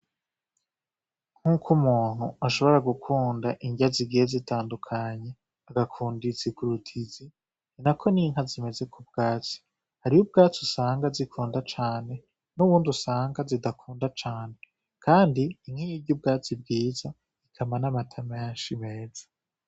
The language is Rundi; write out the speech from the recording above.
Nk'uko umuntu ashobora gukunda ingya zigihe zitandukanye agakundisigurut izi ni na ko ninka zimeze ku bwaci hariyo ubwaci usanga zikunda cane n'uwundi usanga zidakunda cane, kandi ink'iyirya ubwazi bwiza ikama n'amatama yanshi meza.